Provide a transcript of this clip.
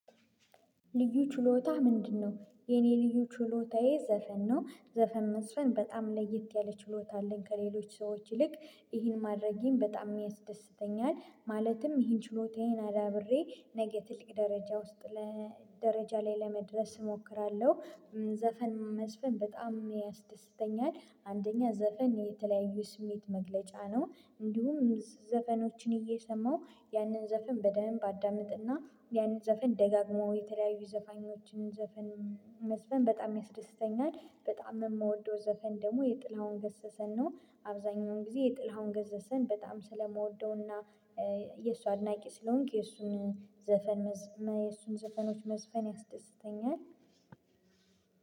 ልዩ ችሎታህ ምንድነው? የኔ ልዩ ችሎታዬ ዘፈን ነው። ዘፈን መስፈን በጣም ለየት ያለ ችሎታ አለኝ ከሌሎች ሰዎች ይልቅ ይህን ማድረጌን በጣም የሚያስደስተኛል ማለትም ይህን ችሎታዬን አዳብሬ ነገ ትልቅ ደረጃ ውስጥ ለደረጃ ላይ ለመድረስ እሞክራለሁ፤ ዘፈን መዝፈን በጣም ያስደስተኛል አንደኛ ዘፈን የተለያዩ ስሜት መግለጫ ነው እንዲሁም ዘፈኖችን እየሰማሁ ያንን ዘፈን በደንብ አዳምጥና ያንን ዘፈን ደጋግመው የተለያዩ ዘፈን ዘፈን መስፈን በጣም ያስደስተኛል። በጣም የምወደው ዘፈን ደግሞ የጥላውን ገሰሰን ነው አብዛኛውን ጊዜ የጥላሁን ገሰሰን በጣም ስለምወደውና የእሱ አድናቂ ስለሆንኩ የእሱን ዘፈን የእሱን ዘፈኖች መዝፈን ያስደስተኛል።